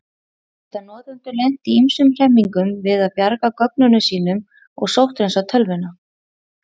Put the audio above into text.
Þá geta notendur lent í ýmsum hremmingum við að bjarga gögnunum sínum og sótthreinsa tölvuna.